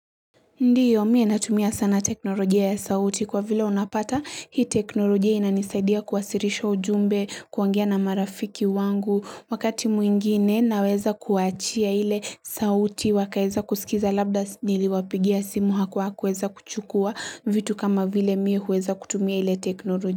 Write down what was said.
Ndio, mimi natumia sana teknolojia ya sauti kwa vile unapata hii teknolojia inanisaidia kuwasiiisha ujumbe kwangia na marafiki wangu wakati mwingine naweza kuachia ile sauti wakaeza kusikiza labda niliwapigia simu hakuweza kuchukua vitu kama vile mi huweza kutumia ile teknolojia.